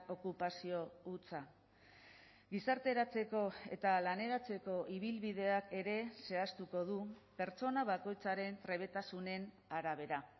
okupazio hutsa gizarteratzeko eta laneratzeko ibilbideak ere zehaztuko du pertsona bakoitzaren trebetasunen arabera